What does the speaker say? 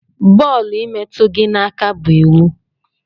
Bọọlụ imetu gi na aka bu iwu.